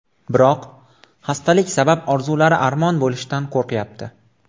Biroq xastalik sabab orzulari armon bo‘lishidan qo‘rqyapti.